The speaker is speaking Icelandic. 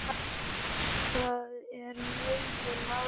Það er megin mál hér.